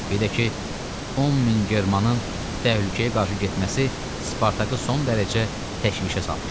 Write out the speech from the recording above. Birdə ki, 10 min Germanın təhlükəyə qarşı getməsi Spartakı son dərəcə təşvişə salmışdı.